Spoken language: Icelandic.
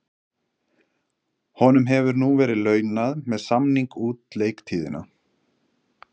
Honum hefur nú verið launað með samning út leiktíðina.